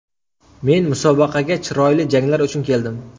Men musobaqaga chiroyli janglar uchun keldim.